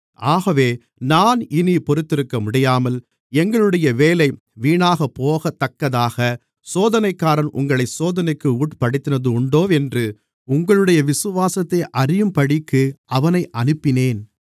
ஆகவே நான் இனிப் பொறுத்திருக்கமுடியாமல் எங்களுடைய வேலை வீணாகப்போகத்தக்கதாகச் சோதனைக்காரன் உங்களைச் சோதனைக்கு உட்படுத்தினதுண்டோவென்று உங்களுடைய விசுவாசத்தை அறியும்படிக்கு அவனை அனுப்பினேன்